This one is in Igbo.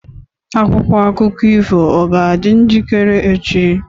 Akwụkwọ akụkọ ifo ọ ga-adị njikere echi?